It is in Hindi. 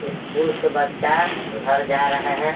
स्कूल से बच्चा घर जा रहे हैं।